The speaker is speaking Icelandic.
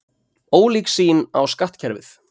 Ólík sýn á skattkerfið